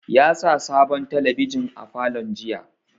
Ya sa sabon talabijin a falon jiya